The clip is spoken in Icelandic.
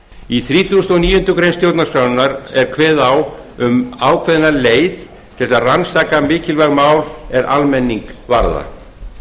í þrítugasta og níundu grein stjórnarskrárinnar er kveðið á um ákveðna leið til að rannsaka mikilvæg mál er almenning varða